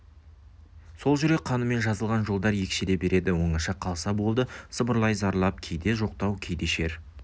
сол жүрек қанымен жазылған жолдар екшеле береді оңаша қалса болды сыбырлай зарлап кейде жоқтау кейде шер